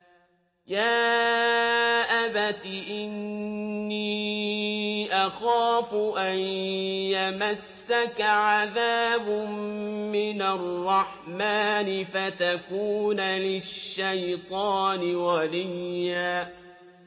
يَا أَبَتِ إِنِّي أَخَافُ أَن يَمَسَّكَ عَذَابٌ مِّنَ الرَّحْمَٰنِ فَتَكُونَ لِلشَّيْطَانِ وَلِيًّا